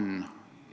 Lugupeetud minister!